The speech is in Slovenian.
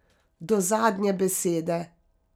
Do zadnje besede.